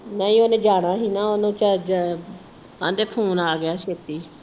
ਨਹੀ ਉਹਨੇ ਜਾਣਾ ਸੀ ਨਾ ਓਹਨੂੰ ਕਹਿਦੇ ਫੋਨ ਆ ਗਿਆ ਛੇਤੀ।